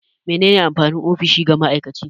Me ne ne amfanin ofishi ga ma'aikaci?